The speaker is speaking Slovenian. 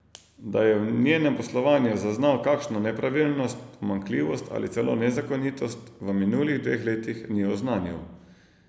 Da je v njenem poslovanju zaznal kakšno nepravilnost, pomanjkljivost ali celo nezakonitost, v minulih dveh letih ni oznanil.